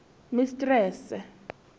mistrese